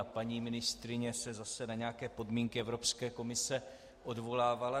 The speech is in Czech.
A paní ministryně se zase na nějaké podmínky Evropské komise odvolávala.